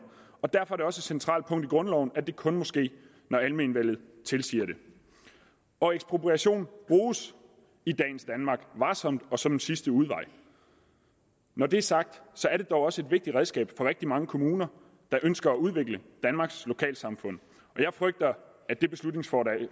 og derfor er et centralt punkt i grundloven at det kun må ske når almenvellet tilsiger det og ekspropriation bruges i dagens danmark varsomt og som en sidste udvej når det er sagt er det dog også et vigtigt redskab for rigtig mange kommuner der ønsker at udvikle danmarks lokalsamfund og jeg frygter at det beslutningsforslag